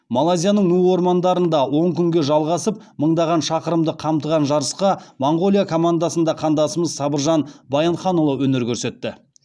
малайзияның ну ормандарында он күнге жалғасып мыңдаған шақырымды қамтыған жарысқа моңғолия командасында қандасымыз сабыржан баянханұлы өнер көрсетті